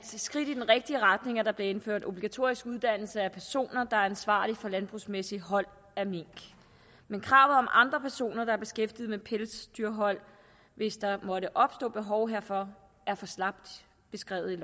skridt i den rigtige retning at der bliver indført obligatorisk uddannelse af personer der er ansvarlige for landbrugsmæssigt hold af mink men kravet om andre personer der er beskæftiget med pelsdyrhold hvis der måtte opstå behov herfor er for slapt beskrevet i